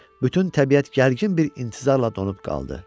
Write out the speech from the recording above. Bütün təbiət gərgin bir intizarla donub qaldı.